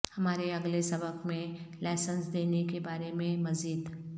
ہمارے اگلے سبق میں لائسنس دینے کے بارے میں مزید